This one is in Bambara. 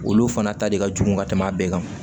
Olu fana ta de ka jugu ka tɛmɛ a bɛɛ kan